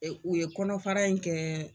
u ye kɔnɔfara in kɛ.